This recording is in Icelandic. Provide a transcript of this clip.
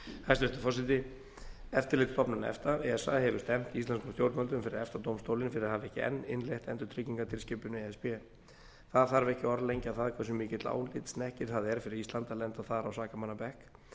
hæstvirtur forseti eftirlitsstofnun efta esa hefur stefnt íslenskum stjórnvöldum fyrir efta dómstólinn fyrir að hafa ekki enn innleitt endurtryggingatilskipun e s b það þarf ekki að orðlengja það hversu mikill álitshnekkir það er fyrir ísland að lenda þar á sakamannabekk